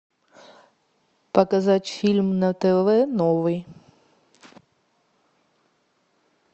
показать фильм на тв новый